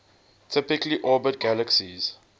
typically orbit galaxies